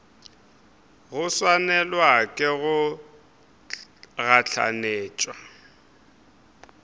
go swanelwa ke go gahlanetšwa